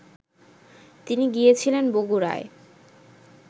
তিনি গিয়েছিলেন বগুড়ায়